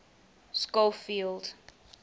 schofield